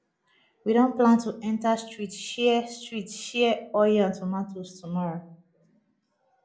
we don plan to enter street share street share oil and tomatoes tomorrow